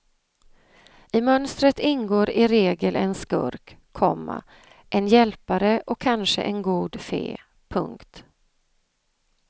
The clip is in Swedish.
I mönstret ingår i regel en skurk, komma en hjälpare och kanske en god fe. punkt